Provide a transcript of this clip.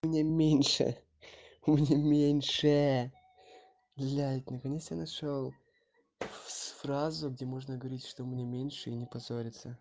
у меня меньше у меня меньше блять наконец я нашёл фразу где можно говорить что у меня меньше и не позориться